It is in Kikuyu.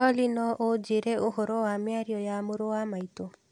Olly no ũnjĩĩre ũhoro wa mĩario ya mũrũ wa maitũ